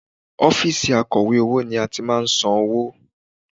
Ọ́fíìsì akọ̀wé owó ni a ti máa ń san owó